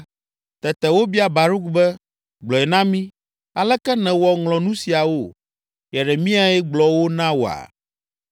Tete wobia Baruk be, “Gblɔe na mi, aleke nèwɔ ŋlɔ nu siawo? Yeremiae gblɔ wo na wòa?”